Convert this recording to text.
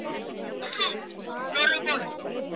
Æskilegt er að sofa fyrir opnum glugga en forðast trekk.